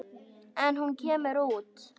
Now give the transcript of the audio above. En hún kemur út.